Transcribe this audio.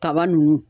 Kaba nunnu